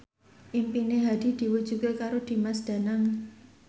impine Hadi diwujudke karo Dimas Danang